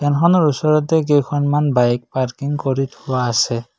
বাহনৰ ওচৰতে কেইখনমান বাইক পাৰ্কিং কৰি থোৱা আছে।